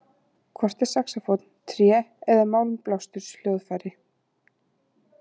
Hvort er saxófónn tré- eða málmblásturshljóðfæri?